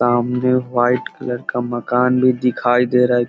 सामने white colour का मकान भी दिखाई दे रहा है ।